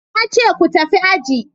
Na ce ku tafi aji!